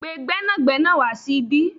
Pe gbẹ́nàgbẹ́nà wa sí ibí